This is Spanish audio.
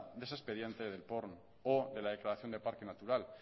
de ese expediente del prn o de la declaración de parque natural